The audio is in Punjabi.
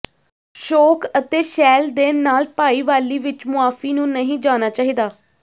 ਸ਼ੋਖ ਅਤੇ ਸ਼ੈਲ ਦੇ ਨਾਲ ਭਾਈਵਾਲੀ ਵਿੱਚ ਮੁਆਫੀ ਨੂੰ ਨਹੀਂ ਜਾਣਾ ਚਾਹੀਦਾ